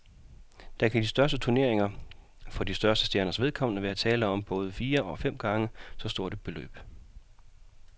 Der kan i de største turneringer for de største stjerners vedkommende være tale om både fire og fem gange så stort et beløb.